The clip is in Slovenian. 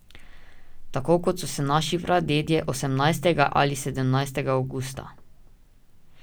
Tako kot so se naši pradedje osemnajstega ali sedemnajstega avgusta.